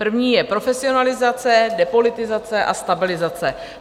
První je profesionalizace, depolitizace a stabilizace.